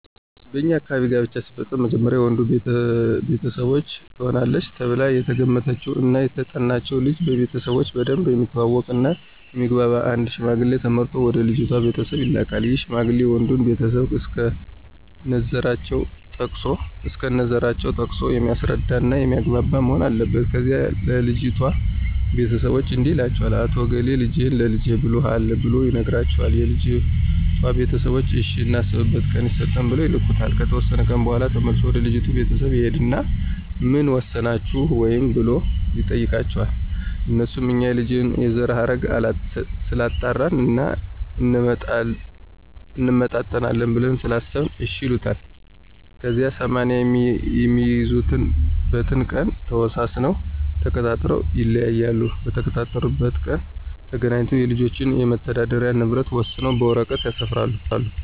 በኛ አካባቢ ጋብቻ ሲፈፀም መጀመሪያ የወንዱ ቤተሰቦች ትሆናለች ተብላ የተገመተችውን እና የተጠናችውን ልጅ ቤተሰቦቾን በደንብ የሚተዋወቅ እና የሚግባባቸውን አንድ ሽማግሌ ተመርጦ ወደ ልጅቷ ቤተሰቦች ይላካን ይህ ሽማግሌ የወንዱንም ቤተሰቦች እስከነዘራቸው ጠቅሶ የሚያስረዳ እና የሚያግባባ መሆን አለበት። ከዚያ ለልጅቷ ቤተሰቦች እንዲህ ይላቸዋል "አቶ እገሌ ልጅህን ለልጀ ብሎሀል"ብሎ ይነግራቸዋል የልጅቷ ቤተሰቦችም እሽ እናስብበት ቀን ይሰጠን ብለው ይልኩታል። ከተወሰነ ቀን በኋላ ተመልሶ ወደ ልጅቷ ቤተሰቦች ይሂድና ምን ወሰናችሁ ወይ ብሎ ይጠይቃቸዋል? አነሱም እኛ የልጁን የዘረሀረግ ስላጣራን እና እንመጣጠናለን ብለን ስላሰበን እሽ ይሉታል። ከዚያ 80 የሚይዙበትን ቀን ተወሳስነውና ተቃጥረው ይለያያሉ። በተቀጣጠሩበት ቀን ተገናኝተው የልጆችን የመተዳደሪ ንብረት ወሰነው በወረቀት ያሰፍራሉ።